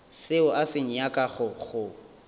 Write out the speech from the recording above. seo a se nyakago go